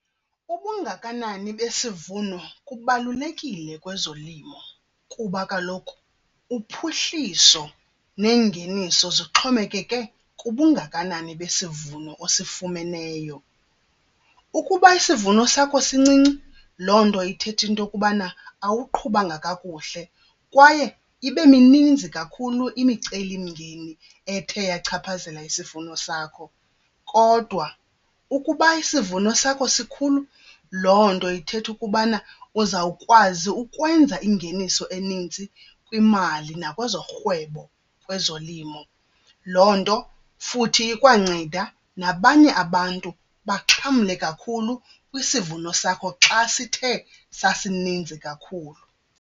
Ubungakanani besivuno kubalulekile kwezolimo kuba kaloku uphuhliso neengeniso zixhomekeke kubungakanani besivuno osifumeneyo. Ukuba isivuno sakho sincinci loo nto ithetha into yokubana awuqhubanga kakuhle kwaye ibe mininzi kakhulu imicelimngeni ethe yachaphazela isivuno sakho. Kodwa ukuba isivuno sakho sikhulu loo nto ithetha ukubana uzawukwazi ukwenza ingeniso enintsi kwimali nakwezorhwebo kwezolimo. Loo nto futhi ikwanceda nabanye abantu baxhamle kakhulu kwisivuno sakho xa sithe sasininzi kakhulu.